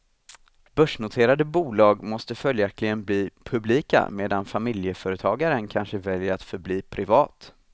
Börsnoterade bolag måste följaktligen bli publika, medan familjeföretagaren kanske väljer att förbli privat.